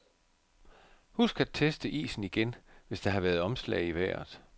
Husk at teste isen igen, hvis der har været omslag i vejret.